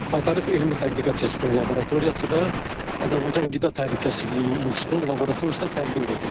Baytarlıq Elmi Tədqiqat İnstitutunun laboratoriyası və Azərbaycan Qida Təhlükəsizliyi İnstitutunun laboratoriyasına təqdim edilib.